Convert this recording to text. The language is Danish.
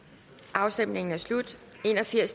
afstemninger så jeg ser